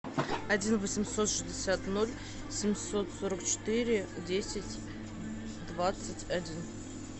один восемьсот шестьдесят ноль семьсот сорок четыре десять двадцать один